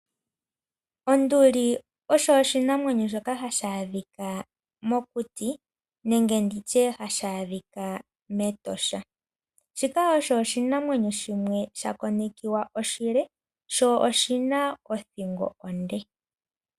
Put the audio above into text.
Onduli oyo oshinamwenyo shoka hashi adhika mokuti nenge ndi tye hashi adhika mEtosha. Shika osho oshinamwenyo shimwe shakonekiwa oshile sho oshi na othingo onde.